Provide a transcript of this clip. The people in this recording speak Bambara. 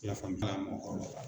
I y'a faamu mɔgɔkɔrɔba la.